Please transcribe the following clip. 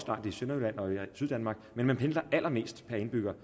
syddanmark men man pendler allermest per indbygger